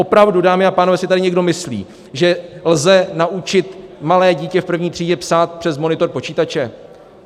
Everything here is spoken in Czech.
Opravdu, dámy a pánové, si tady někdo myslí, že lze naučit malé dítě v první třídě psát přes monitor počítače?